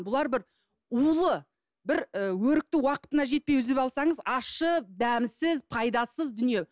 бұлар бір улы бір і өрікті уақытына жетпей үзіп алсаңыз ащы дәмсіз пайдасыз дүние